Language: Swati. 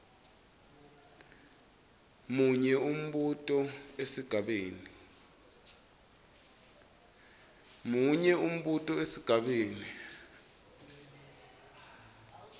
munye umbuto esigabeni